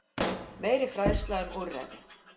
Meiri fræðsla um úrræði